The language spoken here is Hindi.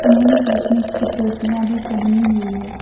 उन्होंने क्रिसमस की टोपियां भी पहनी हुई है।